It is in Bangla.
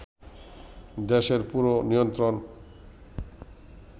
দেশের পুরো নিয়ন্ত্রণ